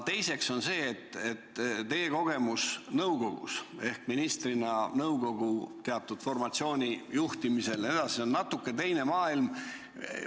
Teiseks tahan öelda, et teie kogemus nõukogus ehk ministrina nõukogu teatud formatsiooni juhtimisel jne on natuke teine maailm.